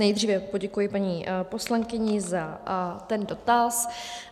Nejdříve poděkuji paní poslankyni za ten dotaz.